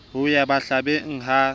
ya ho ba mahlabeng ha